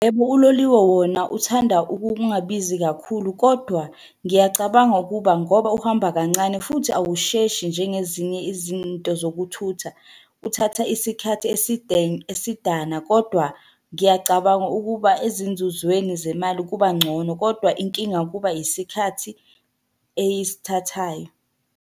Yebo, uloliwe wona uthanda ukungabizi kakhulu, kodwa ngiyacabanga ukuba ngoba uhamba kancane futhi awusheshi njengezinye izinto zokuthutha. Uthatha isikhathi eside esidana, kodwa ngiyacabanga ukuba ezinzuzweni zemali kuba ngcono, kodwa inkinga kuba isikhathi eyisithathayo.